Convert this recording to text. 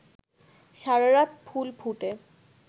সারারাত ফুল ফুটে